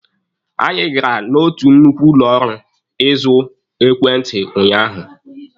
Anyị gara n'otu nnukwu ụlọ ahịa ịzụ ekwentị unyaahụ.